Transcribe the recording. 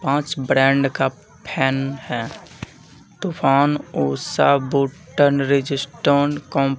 पांच ब्रांड का फैन है तूफान ऊषा बूटन रजिस्ट्रोन को--